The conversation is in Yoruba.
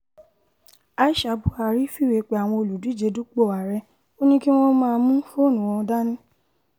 aisha buhari fìwé pe àwọn olùdíje dupò ààrẹ ò ní kí wọ́n má mú fóònù wọn dání wá